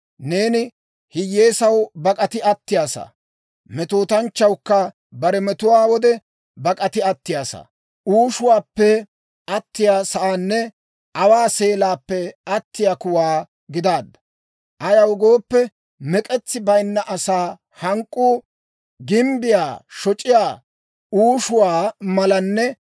Neeni hiyyeesaw bak'ati attiyaasaa. Metootanchchawukka bare metuwaa wode bak'ati attiyaasaa, uushuwaappe atiyaa sa'aanne aawaa seelaappe attiyaa kuwaa gidaadda. Ayaw gooppe, mek'etsi bayinna asaa hank'k'uu gimbbiyaa shoc'iyaa uushuwaa malanne